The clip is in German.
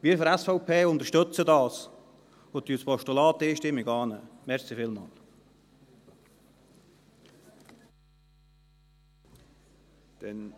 Wir von der SVP unterstützen dies und nehmen das Postulat einstimmig an.